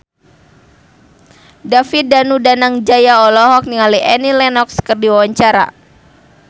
David Danu Danangjaya olohok ningali Annie Lenox keur diwawancara